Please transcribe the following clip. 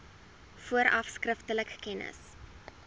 vooraf skriftelik kennis